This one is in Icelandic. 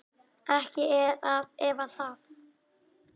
Ekki er að efa það.